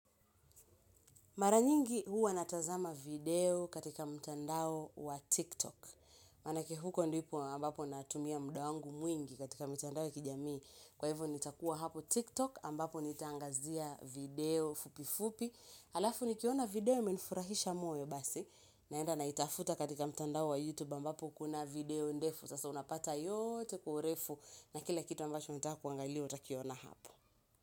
Mara nyingi, huwa natazama video katika mtandao wa tiktok. Maanake huko ndipo ambapo natumia muda wangu mwingi katika mitandao ya kijamii. Kwa hivo nitakua hapo tiktok, ambapo nitangazia video fupi fupi. Halafu, nikiona video menfurahisha moyo basi. Naenda naitafuta katika mtandao wa youtube ambapo kuna video ndefu. Sasa unapata yote kwa urefu na kila kitu ambacho ntakuangalia utakiona hapo.